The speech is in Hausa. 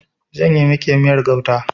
Zan yi miki miyar gauta.